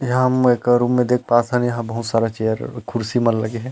यहाँ एक रूम में देख पाथन यहाँ बहुत सारा चेयर कुर्सी मन लगे हे।